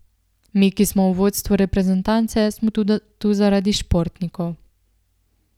Mi, ki smo v vodstvu reprezentance, smo tu zaradi športnikov.